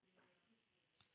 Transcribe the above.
spurði hann byrstur.